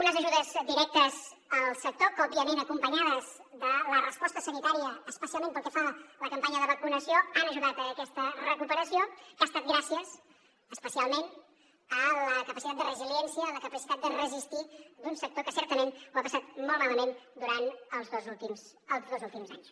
unes ajudes directes al sector que òbviament acompanyades de la resposta sanitària especialment pel que fa a la campanya de vacunació han ajudat a aquesta recuperació que ha estat gràcies especialment a la capacitat de resiliència la capacitat de resistir d’un sector que certament ho ha passat molt malament durant els dos últims anys